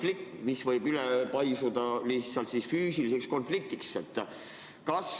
Sellest arusaamatusest võib aga tekkida konflikt, mis võib paisuda füüsiliseks konfliktiks.